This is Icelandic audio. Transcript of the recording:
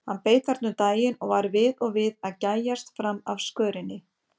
Hann beið þarna um daginn og var við og við að gægjast fram af skörinni.